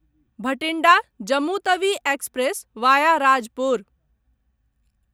Bathinda Jammu Tawi express via Rajpur